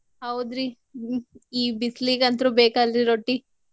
ಹೌದ್ರಿ ಹ್ಮ್ ಈ ಬಿಸ್ಲಿಗಂತು ಬೇಕಲ್ರಿ ರೊಟ್ಟೀ.